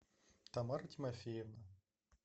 тамара тимофеевна